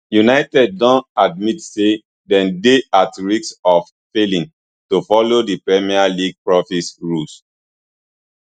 united don admit say dem dey at risk of failing to follow di premier league profit rules